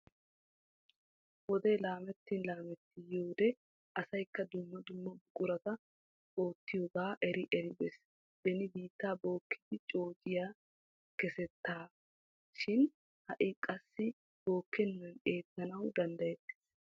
Wodee laamettin laametti yiyoode asayikka dumma dumma buqurati oottiyoogaa eri eri bes. Beni biitta bookkidi coociya. kessettea shin ha'i qassi bookkenan eettanawu dandayettes.